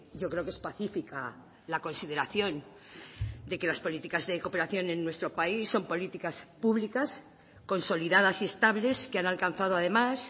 yo creo que es pacífica la consideración de que las políticas de cooperación en nuestro país son políticas públicas consolidadas y estables que han alcanzado además